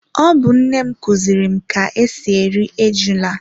Ọ bu nnem kuziri m ka ka esi eri ejula